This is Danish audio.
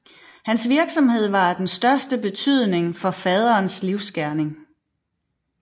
Hans virksomhed var af den største betydning for faderens livsgerning